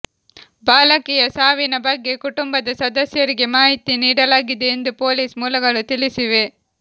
ಬಾಲಕಿಯ ಸಾವಿನ ಬಗ್ಗೆ ಕುಟುಂಬದ ಸದಸ್ಯರಿಗೆ ಮಾಹಿತಿ ನೀಡಲಾಗಿದೆ ಎಂದು ಪೊಲೀಸ್ ಮೂಲಗಳು ತಿಳಿಸಿವೆ